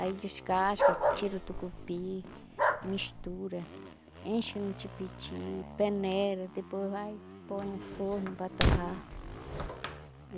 Aí descasca, tira o tucupi, mistura, enche no tipiti, peneira, depois vai e põe no forno para torrar.